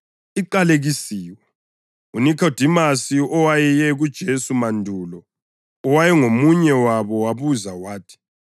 UNikhodimasi owayeye kuJesu mandulo, owayengomunye wabo wabuza wathi,